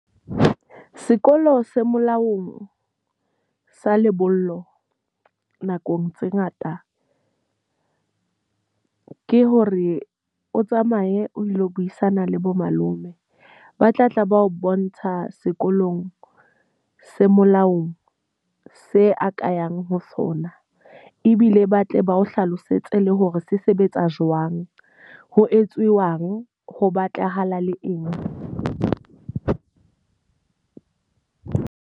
Sekolo se molaong sa lebollo, nakong tse ngata ke hore o tsamaye o ilo buisana le bo malome. Ba tla tla ba o bontsha sekolong se molaong se a ka yang ho sona. Ebile ba tle ba o hlalosetse le hore se sebetsa jwang, ho etsuwang, ho batlahala le eng.